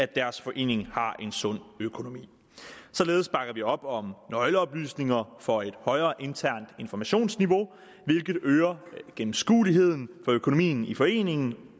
deres forening har en sund økonomi således bakker vi op om nøgleoplysninger for et højere internt informationsniveau hvilket øger gennemskueligheden af økonomien i foreningen